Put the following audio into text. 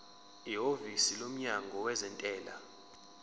ihhovisi lomnyango wezentela